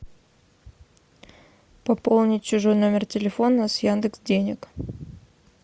пополнить чужой номер телефона с яндекс денег